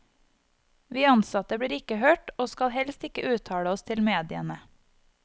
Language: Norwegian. Vi ansatte blir ikke hørt, og skal helst ikke uttale oss til mediene.